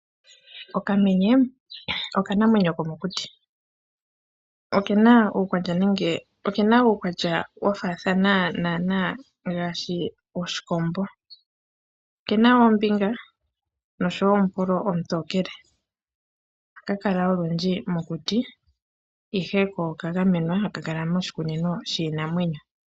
Okamenye okanamwenyo komokuti. Oke na uukwatya wa faathana naanaa nowoshikombo. Okena oombinga noshowo omupolo omutookele. Ohaka kala olundji mokuti, ihe ko okagamenwa haka kala moshikunino shiinamwenyo.